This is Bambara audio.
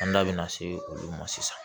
An da bina se olu ma sisan